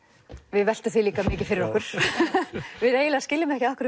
við veltum því líka mikið fyrir okkur við eiginlega skiljum ekki af hverju